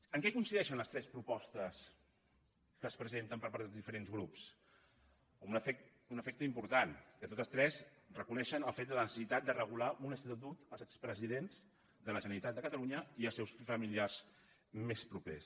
en què coincideixen les tres propostes que es presenten per part dels diferents grups en un efecte important que totes tres reconeixen el fet de la necessitat de regular un estatut dels expresidents de la generalitat de catalunya i els seus familiars més propers